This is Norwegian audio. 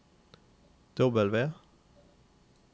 W